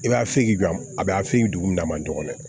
I b'a fe yen bi a bi a feyi dugu min na a ma dɔgɔnɔ